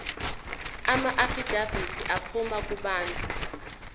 amaafidavithi aphuma kubantu